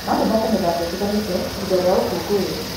No tũthake mĩthako ĩtiganĩte ihida rĩa ũkũngũĩri.